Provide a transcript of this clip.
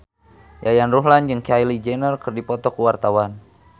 Yayan Ruhlan jeung Kylie Jenner keur dipoto ku wartawan